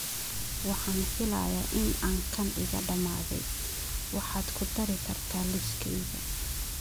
Waxaan filayaa in aan kan iga dhammaaday, waxaad ku dari kartaa liiskayga